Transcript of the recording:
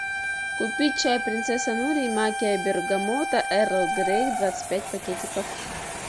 купить чай принцесса нури магия бергамота эрл грей двадцать пять пакетиков